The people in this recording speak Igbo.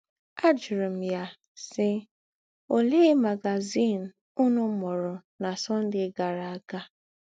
Ajụrụ̀ m yà, sì: “ Òlee magazìn ǔnù mūrù nà Sunday gàrā ága? ”